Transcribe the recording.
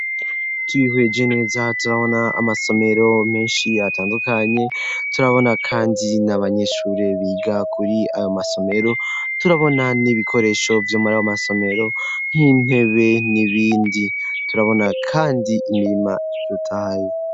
Tubihweje neza turabona amasomero menshi atandukanye turabona kandi nabanyeshure biga kuri ayo masomero turabona n'ibikoresho vy'umaraw amasomero nk'intebe n'ibindi turabona kandi imirima rutaye.